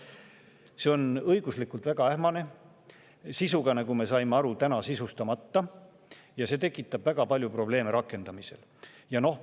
" See on õiguslikult väga ähmane ja sisuga sisustamata, nagu me aru saime, ja see tekitab rakendamisel väga palju probleeme.